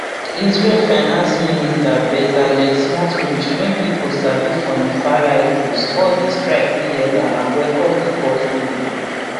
israel finance minister bezalel smotrich wey pipo sabi for im farright views call di strikes illegal and welcome di court ruling